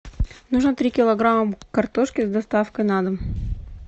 нужно три килограмма картошки с доставкой на дом